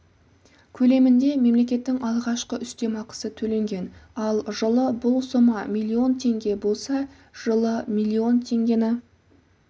көлемінде мемлекеттің алғашқы үстемақысы төленген ал жылы бұл сома миллион теңге болса жылы миллион теңгені